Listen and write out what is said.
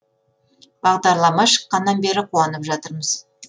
бағдарлама шыққаннан бері қуанып жатырмыз